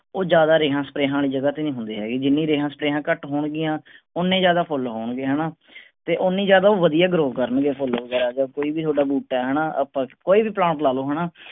ਉਹ ਜ਼ਿਆਦਾ ਰਿਹਾਂ ਸਪਰੇਆਂ ਆਲੀ ਜਗਾਹ ਤੇ ਨਹੀਂ ਹੁੰਦੇ ਹੈਗੇ। ਜਿੰਨੀ ਰਹਿਣ ਸਪਰੇਆਂ ਘਟ ਹੋਣ ਗੀਆਂ ਓੰਨੇ ਜ਼ਿਆਦਾ ਫੁੱਲ ਹੋਣ ਗੇ ਹੈਨਾ ਤੇ ਓੰਨੇ ਜ਼ਿਆਦਾ ਉਹ ਵਧੀਆ grow ਕਰਨ ਗੇ ਉਹ ਫੁੱਲ ਵਗੈਰਾ ਜਾਂ ਕੋਈ ਵੀ ਤੁਹਾਡਾ ਬੂਟਾ ਹੈਨਾ ਆਪਾਂ ਕੋਈ ਵੀ plant ਲਾ ਲਓ ਹੈਨਾ